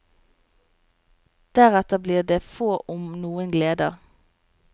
Deretter blir det få om noen gleder.